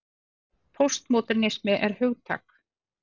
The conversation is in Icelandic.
Póstmódernismi er hugtak.